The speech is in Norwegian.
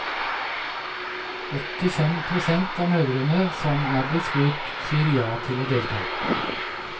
Åttifem prosent av mødrene som er blitt spurt, sier ja til å delta.